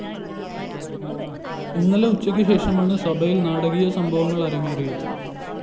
ഇന്നലെ ഉച്ചയ്ക്കു ശേഷമാണ് സഭയില്‍ നാടകീയ സംഭവങ്ങള്‍ അരങ്ങേറിയത്